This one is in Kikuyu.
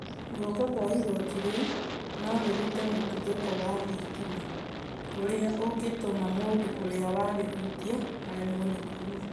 Gũoko kwa ĩgotĩ rĩũ no rĩrũte mũtũthũko wa thĩtĩma, ũrĩa ũngĩtũma mũndũ ũrĩa warĩhũtĩa aremwo nĩ kũũma